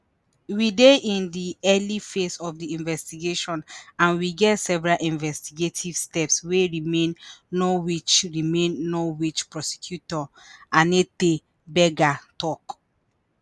we dey in di early phase of di investigation and we get several investigative steps wey remain norwich remain norwich prosecutor anette berger tok